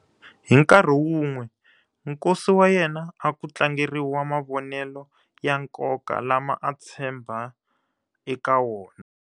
Hi nkarhi wun'we, nkosi wa yena a ku tlangeriwa mavonelo ya nkoka lama a tshemba eka wona.